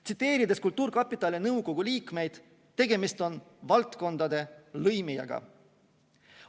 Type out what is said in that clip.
Tsiteerides kultuurkapitali nõukogu liikmeid: tegemist on valdkondade lõimijaga.